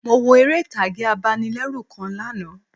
Mo wo eré ìtàgé abanilérù kan lánàá